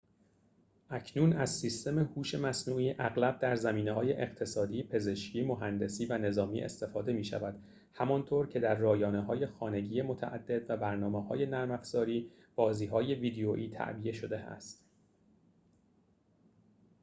اکنون از سیستم هوش مصنوعی اغلب در زمینه‌های اقتصادی پزشکی مهندسی و نظامی استفاده می‌شود همان‌طور که در رایانه‌های خانگی متعدد و برنامه‌های نرم‌افزاری بازی‌های ویدئویی تعبیه شده است